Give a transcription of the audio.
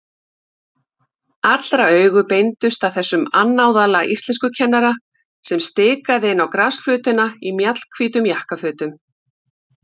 Allra augu beindust að þessum annálaða íslenskukennara sem stikaði inn á grasflötina í mjallhvítum jakkafötum.